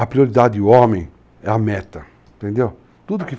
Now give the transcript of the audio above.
A prioridade homem é a meta, entendeu? tudo